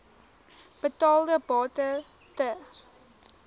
betaalde bate ter